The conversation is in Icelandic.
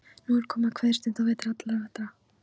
Nú er komið að kveðjustund á vetri allra vetra.